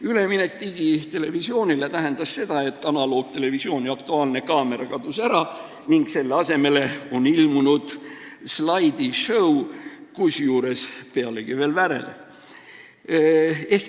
Üleminek digitelevisioonile tähendas seda, et analoogtelevisiooni "Aktuaalne kaamera" kadus ära ning selle asemele on ilmunud slaidisõu, pealegi veel värelev.